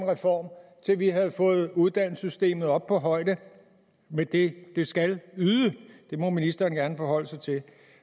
reform til vi havde fået uddannelsessystemet op på højde med det det skal yde det må ministeren gerne forholde sig til